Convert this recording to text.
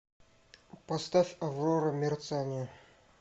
поставь аврора мерцание